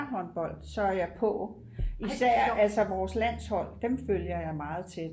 håndbold så er jeg på især altså vores landshold dem følger jeg meget tæt